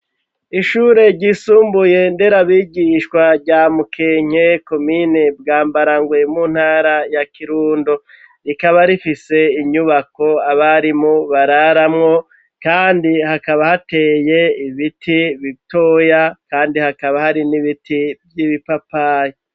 Ishure ryisumbuye nderabigishwa rya Mukenke, komine Bwambarangwe, mu ntara ya Kirundo. Rikaba rifise inyubako abarimu bararamwo ,kandi hakaba hateye ibiti bitoya, kandi hakaba hari n'ibiti vy'ibipapayi.